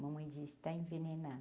Mamãe dizia, está envenenado.